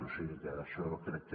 o sigui que això crec que